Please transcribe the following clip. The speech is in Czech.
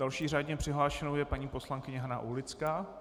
Další řádně přihlášenou je paní poslankyně Hana Aulická.